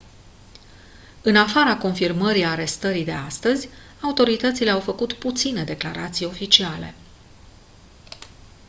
în afara confirmării arestării de astăzi autoritățile au făcut puține declarații oficiale